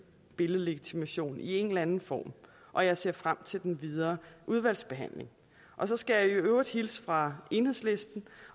billedlegitimation i en eller anden form og jeg ser frem til den videre udvalgsbehandling og så skal jeg i øvrigt hilse fra enhedslisten